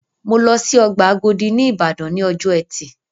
Mọ lọ sí ọgbà Àgòdì ní Ìbàdàn ní ọjọ́ ẹtì